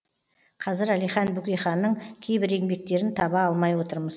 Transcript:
қазір әлихан бөкейханның кейбір еңбектерін таба алмай отырмыз